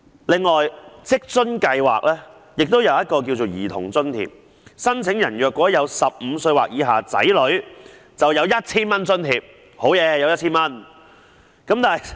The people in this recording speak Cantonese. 此外，職津計劃下有一項兒童津貼，申請人如有年齡15歲或以下的子女便會獲得 1,000 元津貼。